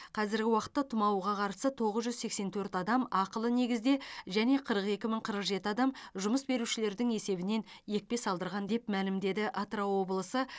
қазіргі уақытта тұмауға қарсы тоғыз жүз сексен төрт адам ақылы негізде және қырық екі мың қырық жеті адам жұмыс берушілердің есебінен екпе салдырған деп мәлімдеді атырау облысы